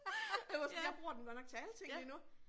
Jeg var sådan jeg bruger den godt nok til alting lige nu